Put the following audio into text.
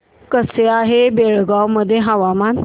कसे आहे बेळगाव मध्ये हवामान